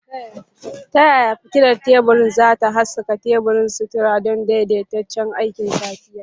Ta yaya fitilar tebur za ta haskaka teburin sutura don daidaitaccen aikin safiya?